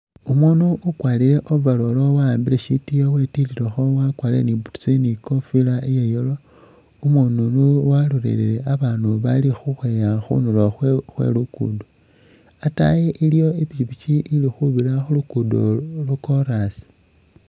Umuundu ukwalile overall waambile shitiiyo wetikhilekho wakwalile ni boots ni kofila iya yellow umuundu uno walolelele abaandu abaali ukhweeya khundulo khwe luguudo ataayi iliwo ipikyipikyi ili khubira khuluguudo lwo kolaasi.